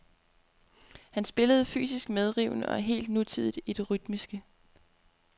Han spillede fysisk medrivende og helt nutidigt i det rytmiske.